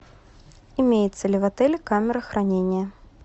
имеется ли в отеле камера хранения